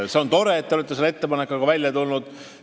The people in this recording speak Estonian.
See on tore, et te olete selle ettepanekuga välja tulnud.